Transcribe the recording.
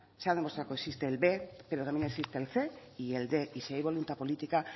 se ha demostrado que existe el b pero también existe el cien y el quinientos y si hay voluntad política